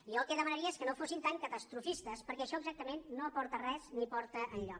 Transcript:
i jo el que demanaria és que no fossin tan catastrofistes perquè això exactament no aporta res ni porta enlloc